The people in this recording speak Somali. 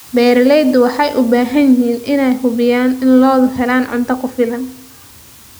Beeraleydu waxay u baahan yihiin inay hubiyaan in lo'du helaan cunto ku filan.